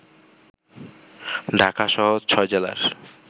ঢাকাসহ ৬ জেলার